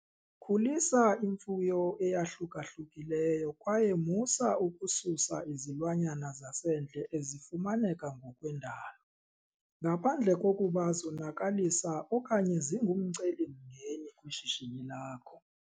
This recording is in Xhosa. Khulisa imfuyo eyahluka-hlukileyo kwaye musa ukususa izilwanyana zasendle ezifumaneka ngokwendalo, ngaphandle kokuba zonakalisa okanye zingumcelimngeni kwishishini lakho.